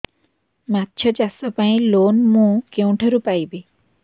ମାଛ ଚାଷ ପାଇଁ ଲୋନ୍ ମୁଁ କେଉଁଠାରୁ ପାଇପାରିବି